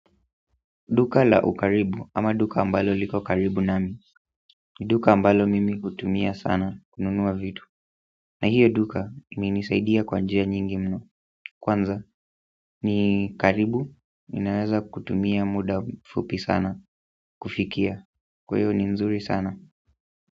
Duka la ukaribu ama duka ambalo liko karibu nami ni duka ambalo mimi hutumia sana kununua vitu na hiyo duka imenisaidia kwa njia nyingi mno kwanza ni karibu ninaweza kutumia muda fupi sana kufikia kwa hiyo ni nzuri sana.